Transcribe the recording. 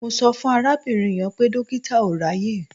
Mo sọ fún arábìnrin yẹn pé dọ́kítà ò ráàyè.